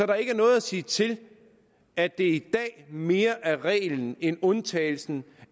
der ikke er noget at sige til at det i dag mere er reglen end undtagelsen